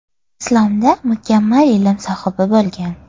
Islomda mukammal ilm sohibi bo‘lgan.